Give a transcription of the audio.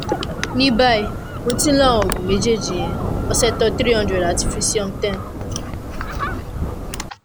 ní báyìí mo ti ń lo àwọn oògùn méjèèjì yẹn oxetol three hundred àti frisium ten